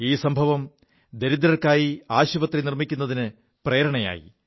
ഈ സംഭവം ദരിദ്രർക്കായി ആശുപത്രി നിർമ്മിക്കുതിന് പ്രേരണയായി